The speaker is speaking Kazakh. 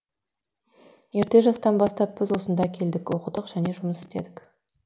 ерте жастан бастап біз осында келдік оқыдық және жұмыс істедік